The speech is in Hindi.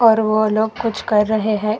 और वो लोग कुछ कर रहे है।